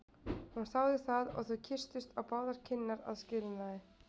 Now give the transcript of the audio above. Hún þáði það og þau kysstust á báðar kinnar að skilnaði.